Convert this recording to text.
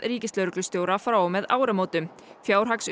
ríkislögreglustjóra frá og með áramótum